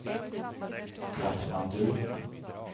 Katmandu